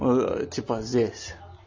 ээ типа здесь